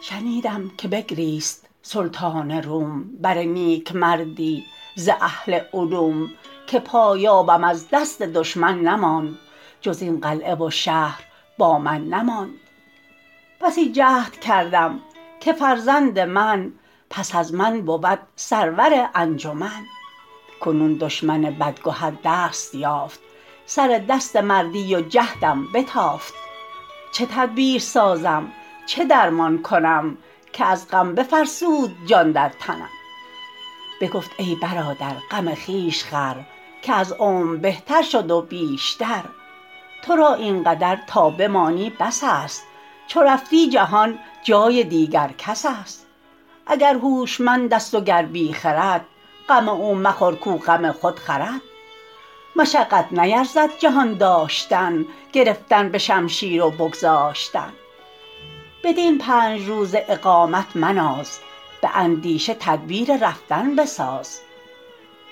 شنیدم که بگریست سلطان روم بر نیکمردی ز اهل علوم که پایابم از دست دشمن نماند جز این قلعه و شهر با من نماند بسی جهد کردم که فرزند من پس از من بود سرور انجمن کنون دشمن بدگهر دست یافت سر دست مردی و جهدم بتافت چه تدبیر سازم چه درمان کنم که از غم بفرسود جان در تنم بگفت ای برادر غم خویش خور که از عمر بهتر شد و بیشتر تو را این قدر تا بمانی بس است چو رفتی جهان جای دیگر کس است اگر هوشمند است و گر بی خرد غم او مخور کاو غم خود خورد مشقت نیرزد جهان داشتن گرفتن به شمشیر و بگذاشتن بدین پنج روزه اقامت مناز به اندیشه تدبیر رفتن بساز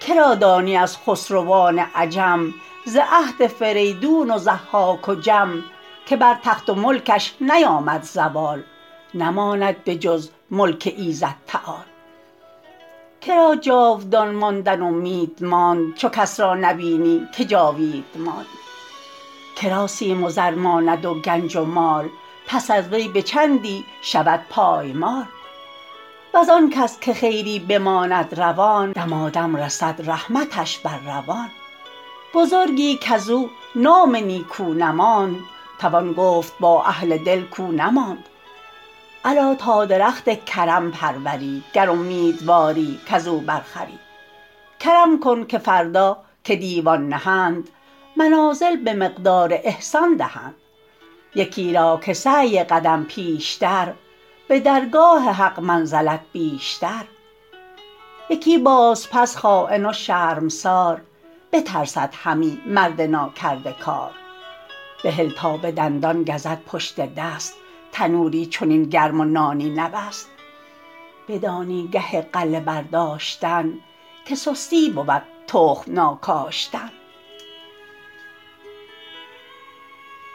که را دانی از خسروان عجم ز عهد فریدون و ضحاک و جم که بر تخت و ملکش نیامد زوال نماند به جز ملک ایزد تعال که را جاودان ماندن امید ماند چو کس را نبینی که جاوید ماند که را سیم و زر ماند و گنج و مال پس از وی به چندی شود پایمال وز آن کس که خیری بماند روان دمادم رسد رحمتش بر روان بزرگی کز او نام نیکو نماند توان گفت با اهل دل کاو نماند الا تا درخت کرم پروری گر امیدواری کز او بر خوری کرم کن که فردا که دیوان نهند منازل به مقدار احسان دهند یکی را که سعی قدم پیشتر به درگاه حق منزلت بیشتر یکی باز پس خاین و شرمسار بترسد همی مرد ناکرده کار بهل تا به دندان گزد پشت دست تنوری چنین گرم و نانی نبست بدانی گه غله برداشتن که سستی بود تخم ناکاشتن